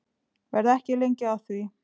Verð ekki lengi að því.